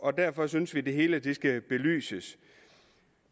og derfor synes vi det hele skal belyses